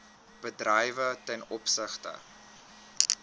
bedrywe ten opsigte